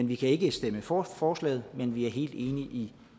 vi kan ikke stemme for forslaget men vi er helt enige i